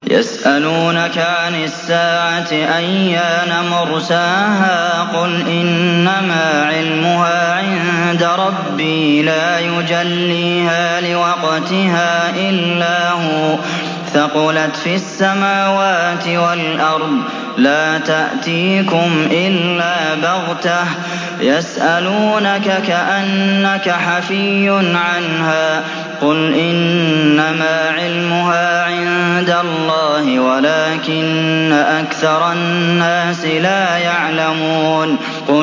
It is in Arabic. يَسْأَلُونَكَ عَنِ السَّاعَةِ أَيَّانَ مُرْسَاهَا ۖ قُلْ إِنَّمَا عِلْمُهَا عِندَ رَبِّي ۖ لَا يُجَلِّيهَا لِوَقْتِهَا إِلَّا هُوَ ۚ ثَقُلَتْ فِي السَّمَاوَاتِ وَالْأَرْضِ ۚ لَا تَأْتِيكُمْ إِلَّا بَغْتَةً ۗ يَسْأَلُونَكَ كَأَنَّكَ حَفِيٌّ عَنْهَا ۖ قُلْ إِنَّمَا عِلْمُهَا عِندَ اللَّهِ وَلَٰكِنَّ أَكْثَرَ النَّاسِ لَا يَعْلَمُونَ